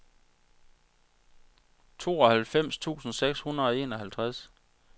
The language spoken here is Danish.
tooghalvfems tusind seks hundrede og enoghalvtreds